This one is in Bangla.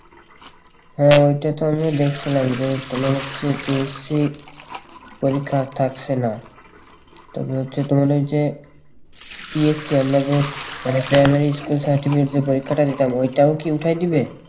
হ্যাঁ ওইটা তো আমিও দেখছিলাম যে তোমার হচ্ছে যে সেই পরীক্ষা থাকছে না তবে হচ্ছে তোমার ওই যে PSC আমরা যে primary school certificate যে পরীক্ষাটা দিতাম ওইটাও কি উঠায়ে দিবে